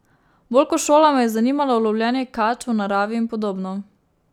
Bolj ko šola me je zanimalo lovljenje kač v naravi in podobno.